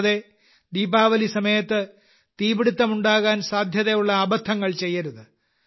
കൂടാതെ ദീപാവലി സമയത്ത് തീപിടുത്തം ഉണ്ടാകാൻ സാധ്യതയുള്ള അബദ്ധങ്ങൾ ചെയ്യരുത്